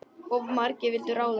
Of margir vildu ráða.